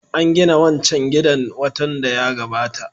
An gina wancan gidan watan da ya gabata